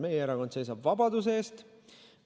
Meie erakond seisab vabaduse eest.